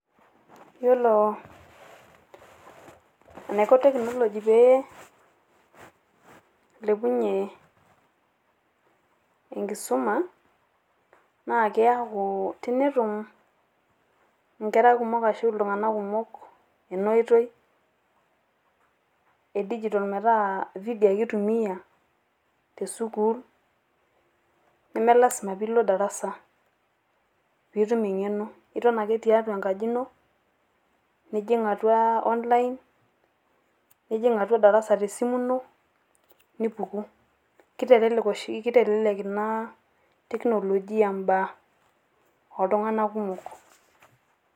Iyeloo naiko teknoloji pee elepunye enkisuma naa keaku tenetuum nkerra kumook ashu iltung'anak kumoo ene otoi e digital petaa video ake atumia te sukuul naa mee lasima piiloo darasaa piitim eng'eno nitoon ake teatua enkaji eno nijiin atua online nijiin atua darasaa atua te simu inoo nipukuu. Ketelelek oshi ketelelek naa teknolojia baya oltung'anak kumook.